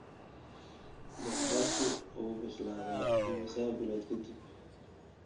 Basbaasku wuu bislaadaa imisa bilood ka dib?